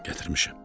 "Gətirmişəm."